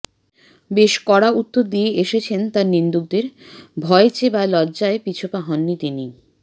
বেশ কড়া উত্তর দিয়ে এসেছেন তাঁর নিন্দুকদের ভয়েছে বা লজ্জায় পিছপা হননি তিনি